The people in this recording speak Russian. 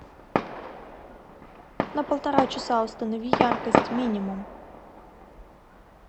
на полтора часа установи яркость минимум